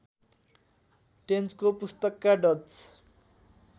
टेन्चको पुस्तकका डच